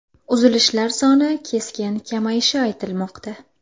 Uzilishlar soni keskin kamayishi aytilmoqda.